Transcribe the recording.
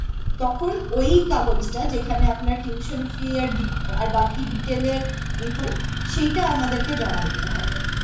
তখন ওই কাগজটা যেখানে আপনার tuition fee আর D আর বাকি detail এর information সেইটা আমাদেরকে জমা দিতে হবে